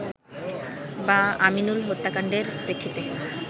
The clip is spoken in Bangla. বা আমিনুল হত্যাকাণ্ডের প্রেক্ষিতে